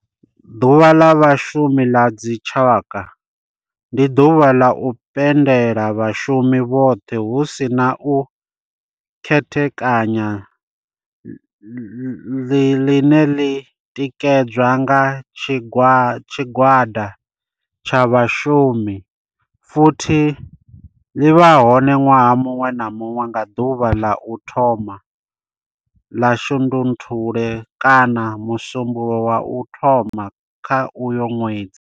Ḓuvha la Vhashumi la dzi tshaka, ndi duvha ḽa u pembela vhashumi vhothe hu si na u khethekanya ḽine ḽi tikedzwa nga tshigwada tsha vhashumi futhi ḽi vha hone nwaha munwe na munwe nga duvha ḽa u thoma 1 ḽa Shundunthule kana musumbulowo wa u thoma kha uyo nwedzi.